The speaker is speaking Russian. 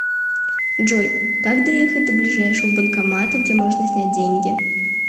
джой как доехать до ближайшего банкомата где можно снять деньги